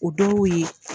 O dɔw y'o ye